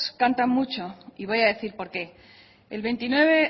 cantan mucho y voy a decir por qué el veintinueve